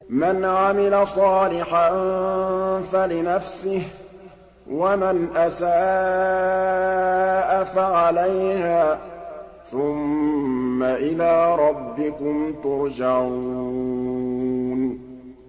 مَنْ عَمِلَ صَالِحًا فَلِنَفْسِهِ ۖ وَمَنْ أَسَاءَ فَعَلَيْهَا ۖ ثُمَّ إِلَىٰ رَبِّكُمْ تُرْجَعُونَ